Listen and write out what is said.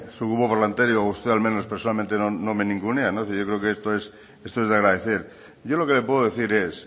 su grupo parlamentario o usted al menos personalmente no me ningunea no esto es de agradecer yo lo que le puedo decir es